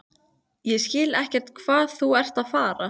Ég skil ekkert hvað þú ert að fara.